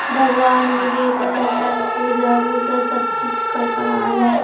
भगवान वगैरा है पूजा वूजा सब चीज का समान है।